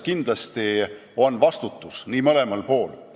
Kindlasti on vastutus mõlemal pool.